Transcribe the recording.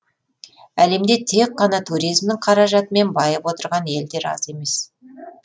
әлемде тек қана туризмнің қаражатымен байып отырған елдер аз емес